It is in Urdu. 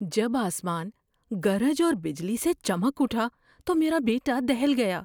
جب آسمان گرج اور بجلی سے چمک اٹھا تو میرا بیٹا دہل گیا۔